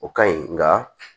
O ka ɲi nka